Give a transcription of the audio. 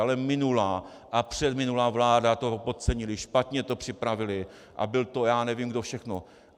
Ale minulá a předminulá vláda to podcenily, špatně to připravily a byl to já nevím kdo všechno.